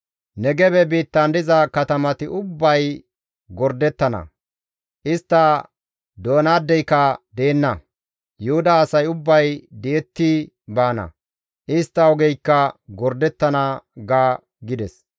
Negebe biittan diza katamati ubbay gordettana. Istta doyanaadeyka deenna; Yuhuda asay ubbay di7ettidi baana; istta ogeykka gordettana› ga» gides.